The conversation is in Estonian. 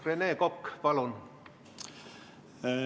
Rene Kokk, palun!